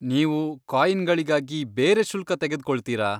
ನೀವು ಕಾಯಿನ್ಗಳಿಗಾಗಿ ಬೇರೆ ಶುಲ್ಕ ತೆಗೆದ್ಕೊಳ್ತೀರಾ?